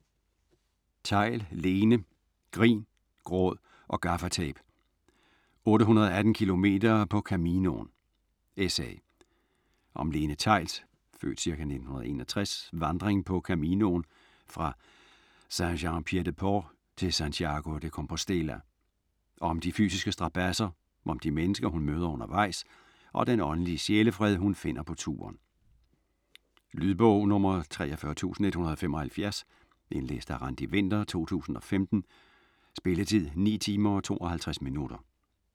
Theill, Lene: Grin, gråd og gaffatape: 818 kilometer på Caminoen: essay Om Lene Theills (f. ca. 1961) vandring på Caminoen fra Saint-Jean-Pied-de-Port til Santiago de Compostela. Om de fysiske strabadser, om de mennesker hun møder undervejs og den åndelige sjælefred hun finder på turen. Lydbog 43175 Indlæst af Randi Winther, 2015. Spilletid: 9 timer, 52 minutter.